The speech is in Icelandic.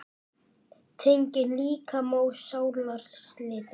Tenging líkama og sálar slitin.